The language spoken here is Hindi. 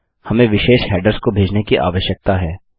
हमें विशेष हैडर्स को भेजने की आवश्यकता है